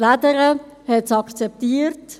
Die «Lädere» hat es akzeptiert.